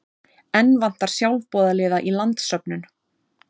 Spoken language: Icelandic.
Enn vantar sjálfboðaliða í landssöfnun